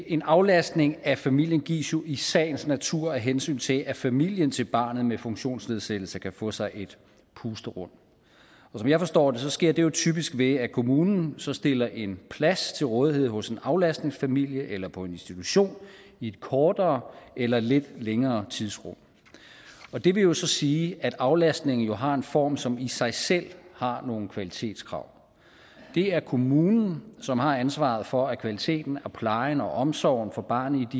en aflastning af familien gives jo i sagens natur af hensyn til at familien til barnet med funktionsnedsættelse kan få sig et pusterum og som jeg forstår det sker det jo typisk ved at kommunen så stiller en plads til rådighed hos en aflastningsfamilie eller på en institution i et kortere eller lidt længere tidsrum og det vil jo så sige at aflastningen har en form som i sig selv har nogle kvalitetskrav det er kommunen som har ansvaret for at kvaliteten og plejen og omsorgen for barnet